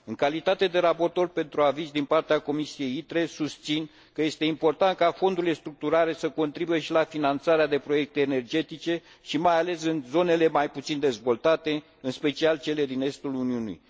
În calitate de raportor pentru aviz din partea Comisiei ITRE, susțin că este important ca fondurile structurale să contribuie și la finanțarea de proiecte energetice și, mai ales, în zonele mai puțin dezvoltate, în special cele din estul Uniunii.